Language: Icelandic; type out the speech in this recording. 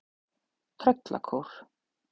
Tröllakór